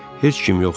Heç kim yox idi.